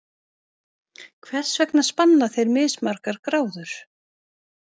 Hvers vegna spanna þeir mismargar gráður?